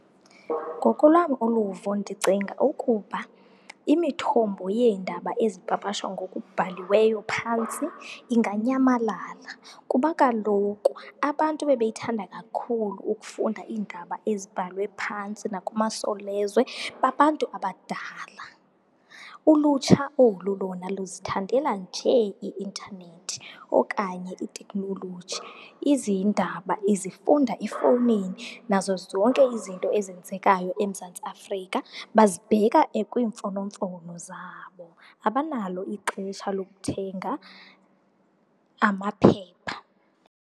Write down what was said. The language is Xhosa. Ngokolwam uluvo ndicinga ukuba imithombo yeendaba ezipapashwa ngokubhaliweyo phantsi inganyamalala kuba kaloku abantu ebebeyithanda kakhulu ukufunda iindaba ezibhalwe phantsi nakumaSolezwe babantu abadala. Ulutsha olu lona luzithandela nje i-intanethi okanye itekhnoloji, izindaba izifunda efowunini nazo zonke izinto ezenzekayo eMzantsi Afrika bazibheka kwiimfonomfono zabo. Abanalo ixesha lokuthenga amaphepha.